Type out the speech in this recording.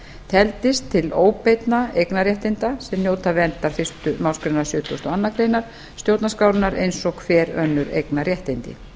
teldist til óbeinna eignarréttinda sem njóta verndar fyrstu málsgrein sjötugustu og aðra grein stjórnarskrárinnar eins og hver önnur eignarréttindi